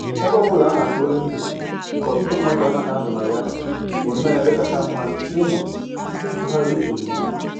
Ebe ọbụla a na-ekpori ndụ nke ọtụtụ mmadụ anaghị anọ na ya bụnnọ ebe kacha mma ịnọ tụgharịa uche n'udo